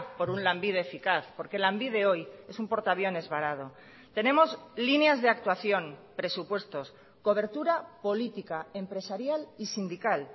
por un lanbide eficaz porque lanbide hoy es un portaviones varado tenemos líneas de actuación presupuestos cobertura política empresarial y sindical